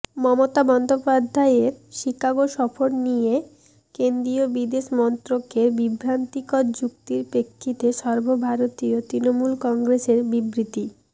মমতা বন্দ্যোপাধ্যায়ের শিকাগো সফর নিয়ে কেন্দ্রীয় বিদেশ মন্ত্রকের বিভ্রান্তিকর যুক্তির প্রেক্ষিতে সর্বভারতীয় তৃণমূল কংগ্রেসের বিবৃতি